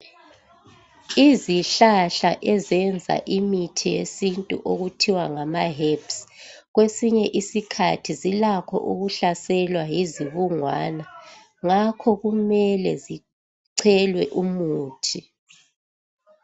Izihlahla ezenza imithi yesintu okuthiwa ngamaherbs kwesinye isikhathi zilakho ukuhlaselwa yizibungwana. Ngakho kumele zichelwe umuthi.